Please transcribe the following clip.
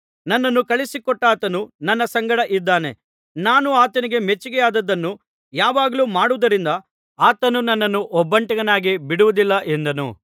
ನನ್ನನ್ನು ಕಳುಹಿಸಿಕೊಟ್ಟಾತನು ನನ್ನ ಸಂಗಡ ಇದ್ದಾನೆ ನಾನು ಆತನಿಗೆ ಮೆಚ್ಚಿಕೆಯಾದದ್ದನ್ನು ಯಾವಾಗಲೂ ಮಾಡುವುದರಿಂದ ಆತನು ನನ್ನನ್ನು ಒಬ್ಬಂಟಿಗನಾಗಿ ಬಿಡುವುದಿಲ್ಲ ಎಂದನು